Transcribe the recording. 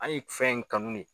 Hali fɛn in kanu ne